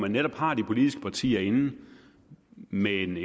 netop har de politiske partier inde med en